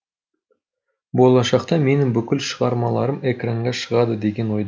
болашақта менің бүкіл шығармаларым экранға шығады деген ойдамын